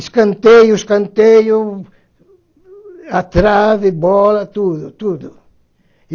Escanteio, escanteio, a trave, bola, tudo, tudo.